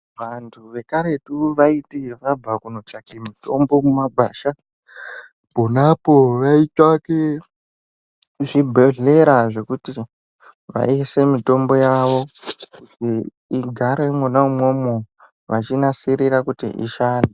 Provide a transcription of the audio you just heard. Vantu vekaretu vaiti vabva kunotsvaka mitombo mumagwasha ponapo vaitsvake zvibhehlera zvekuti vaiise mitombo yavo kuti igare imwona imwomwo vachiinasirira kuti ishande.